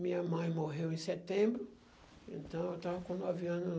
Minha mãe morreu em setembro, então eu estava com nove anos.